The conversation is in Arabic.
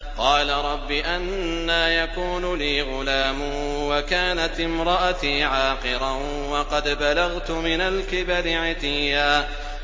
قَالَ رَبِّ أَنَّىٰ يَكُونُ لِي غُلَامٌ وَكَانَتِ امْرَأَتِي عَاقِرًا وَقَدْ بَلَغْتُ مِنَ الْكِبَرِ عِتِيًّا